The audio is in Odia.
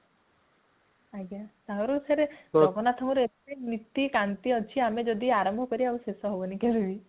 ଆଜ୍ଞା ତାଙ୍କର ଫେରେ ଜଗନ୍ନାଥଙ୍କ ଏତେ ନୀତି କାନ୍ତି ଅଛି ଆମେ ଯଦି ଆରମ୍ଭ କରିବା ଶେଷ ହବନି କେବେ ବି